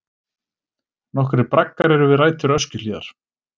Nokkrir braggar eru við rætur Öskjuhlíðar.